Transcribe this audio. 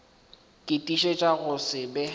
ke tiišetša go se be